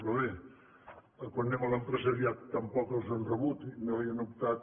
però bé quan anem a l’empresariat tampoc els han rebut i no hi han optat